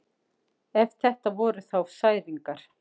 Ef þetta voru þá særingar.